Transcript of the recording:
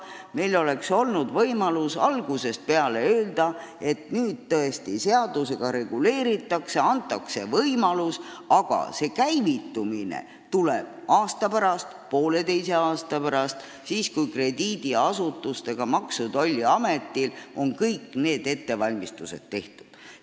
Meil oleks olnud võimalik algusest peale öelda, et seda nüüd tõesti seadusega reguleeritakse, antakse võimalus, aga käivitumine tuleb aasta või poolteise aasta pärast, kui krediidiasutustel ning Maksu- ja Tolliametil on kõik ettevalmistused tehtud.